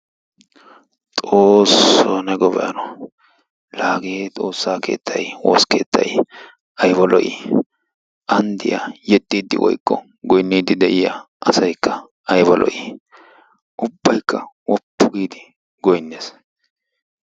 Xoosso ne gobay hano! Laa hage xoossaa keettay woosa keettay ayba lo"i! An diya yexxiidi woykko goynniiddi de'iya asaykka ayba lo"i! Ubbaykka woppu giidi goynnes.